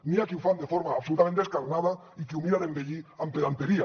n’hi ha que ho fan de forma absolutament descarnada i qui ho mira d’embellir amb pedanteria